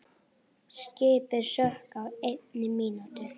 Skipið sökk á einni mínútu.